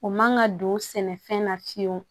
O man ka don sɛnɛfɛn na fiyewu